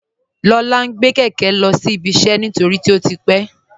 Lọla ǹ gbẹ̀ kẹkẹ̀ lọ́sí iṣẹ́ nítorí pé ó ti pẹ̀.